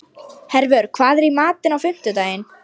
Hervör, hvað er í matinn á fimmtudaginn?